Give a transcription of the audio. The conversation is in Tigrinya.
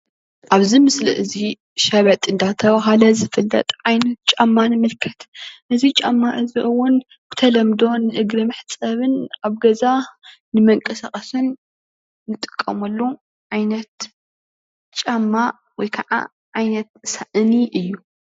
ኣብዚ ምስሊ እዚ ሸበጥ እናተባሃለ ዝፍለጥ ዓይነት ጫማ ንምልከት እዚ ጫማ እዚ እዉን በተለምዶ ንእግሪ መሕፀብን ኣብ ገዛ ንመንቀሳቀስን ንጥቀመሉ ዓይነት ጫማ ወይ ከዓ ዓይነት ሳእኒ እዩ።